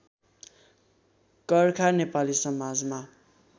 कर्खा नेपाली समाजमा